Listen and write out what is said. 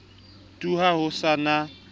tu ha ho sa na